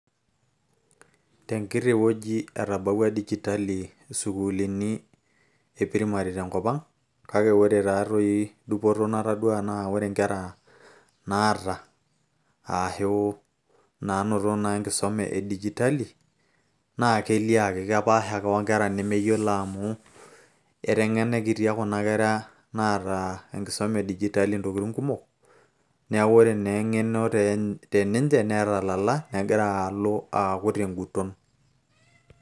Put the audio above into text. tenkiti wueji etabawua dijitali isukuulini e primary tenkop ang kake ore taatoi dupoto natadua naa ore inkera naata ashu naanoto naa enkisuma e dijitali naa kelio ake kepaasha ake onkera nemeyiolo amu eteng'enikitia kuna kera naata enkisuma e dijitali ntokitin kumok neeku ore naa eng'eno teninche netalala negira alo aaku tenguton.